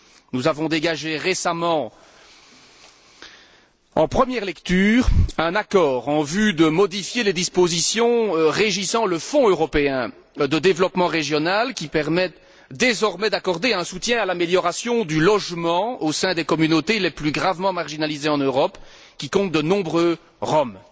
Nous avons dégagé récemment en première lecture un accord en vue de modifier les dispositions régissant le Fonds européen de développement régional, qui permettent désormais d'accorder un soutien à l'amélioration du logement au sein des communautés les plus gravement marginalisées en Europe, qui comptent de nombreux Roms.